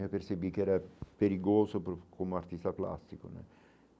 Eu percebi que era perigoso para o como artista plástico né.